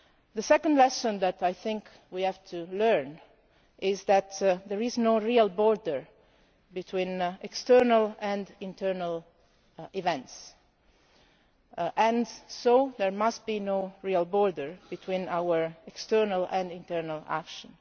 The second lesson that I think we have to learn is that there is no real border between external and internal events, and so there must be no real border between our external and internal action.